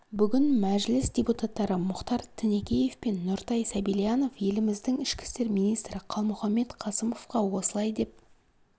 бүгін мәжіліс депутаттары мұхтар тінекеев пен нұртай сәбильянов еліміздің ішкі істер министрі қалмұханбет қасымовқа осылай деп